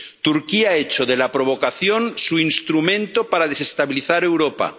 Turquía ha hecho de la provocación su instrumento para desestabilizar Europa